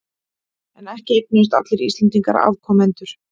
En ekki eignuðust allir Íslendingar afkomendur.